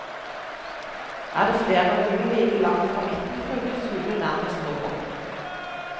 Er det flere hull like langt fra midten, brukes hullet nærmest roboten.